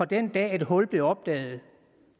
den dag et hul blev opdaget